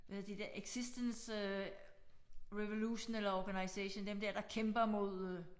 Hvad er de der existence øh revolution eller organization dem der der kæmper mod øh